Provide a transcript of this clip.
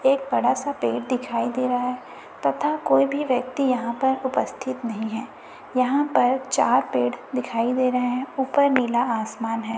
एक बड़ा सा पेड़ दिखाई दे रहा है तथा कोई भी व्यक्ति यहां पर उपस्थित नहीं है यहां पर चार पेड़ दिखाई दे रहे हैं ऊपर नीला आसमान है।